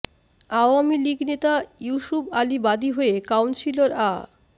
আওয়ামী লীগ নেতা ইউসুব আলী বাদী হয়ে কাউন্সিলর আ